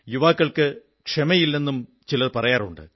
യുവാക്കൾക്ക് ക്ഷമയില്ലെന്നും ചിലർ പറയാറുണ്ട്